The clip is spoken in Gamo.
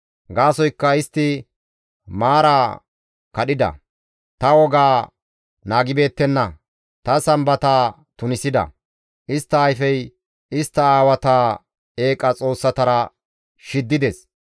Gaasoykka istti maara kadhida; ta wogaa naagibeettenna; ta Sambata tunisida; istta ayfey istta aawata eeqa xoossatara shiddides.